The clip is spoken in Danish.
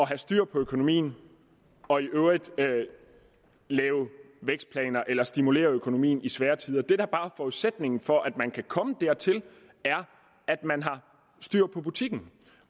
have styr på økonomien og i øvrigt lave vækstplaner eller stimulere økonomien i svære tider det der bare er forudsætningen for at man kan komme dertil er at man har styr på butikken